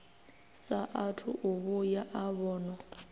saathu u vhuya a vhonwa